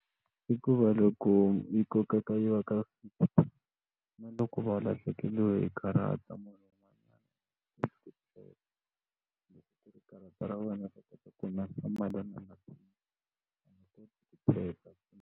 I ku va loko yi kokeka yi loko va lahlekeriwe hi karata munhu karata ra wena teka.